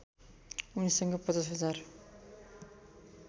उनीसँग ५० हजार